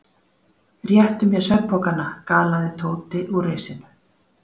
Réttu mér svefnpokana galaði Tóti úr risinu.